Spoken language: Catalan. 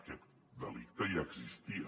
aquest delicte ja existia